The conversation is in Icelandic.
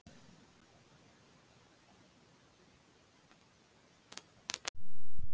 Íslenskur texti á öllum myndum er settur inn af ritstjórn Vísindavefsins.